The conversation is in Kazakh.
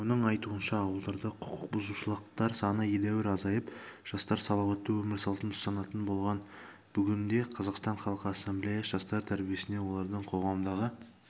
оның айтуынша ауылдарда құқықбұзушылықтар саны едәуір азайып жастар салауатты өмір салтын ұстанатын болған бүгінде қазақстан халқы ассамблеясы жастар тәрбиесіне олардың қоғамдағы